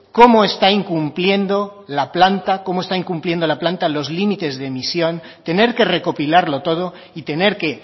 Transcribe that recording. cómo está incumpliendo la planta los límites de emisión tener que recopilarlo todo y tener que